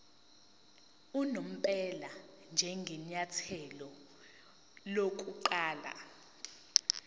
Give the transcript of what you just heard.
unomphela njengenyathelo lokuqala